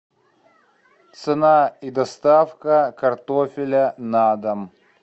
цена и доставка картофеля на дом